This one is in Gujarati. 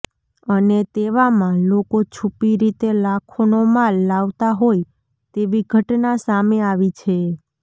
અને તેવામાં લોકો છુપી રીતે લાખોનો માલ લાવતા હોય તેવી ઘટના સામે આવી છે